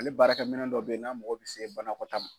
Ale baarakɛ minɛn dɔ bɛ ye n'a mago bɛ se banakɔtaa ma.